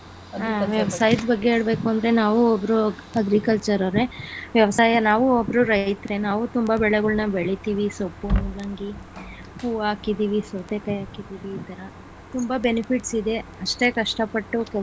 ಹ ವ್ಯವಸಾಯದ ಬಗ್ಗೆ ಹೇಳಬೇಕು ಅಂದ್ರೆ ನಾವು ಒಬ್ಬರು agriculture ಅವ್ರೆ ವ್ಯವಸಾಯ ನಾವು ಒಬ್ಬರು ರೈತರೇ ನಾವು ತುಂಬಾ ಬೆಳೆಗಳನ್ನ ಬೆಳಿತಿವಿ ಸೊಪ್ಪು, ಮೂಲಂಗಿ , ಹು ಹಾಕಿದೀವಿ, ಸೌತೆಕಾಯಿ ಹಾಕಿದೀವಿ ತುಂಬಾ benefits ಇದೆ ಅಷ್ಟೆ ಕಷ್ಟ.